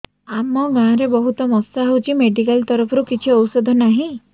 ଆମ ଗାଁ ରେ ବହୁତ ମଶା ହଉଚି ମେଡିକାଲ ତରଫରୁ କିଛି ଔଷଧ ନାହିଁ